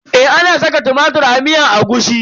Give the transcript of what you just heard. Eh ana saka tumatir a miyar agushi.